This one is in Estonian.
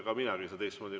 Ega minagi ei saa teistmoodi.